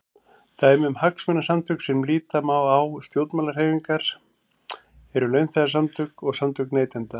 Dæmi um hagsmunasamtök sem líta má á sem stjórnmálahreyfingar eru launþegasamtök og samtök neytenda.